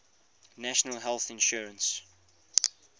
national health insurance